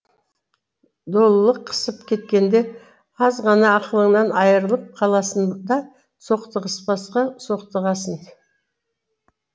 долылық қысып кеткенде аз ғана ақылыңнан айрылып қаласын да соқтығыспасқа соқтығасың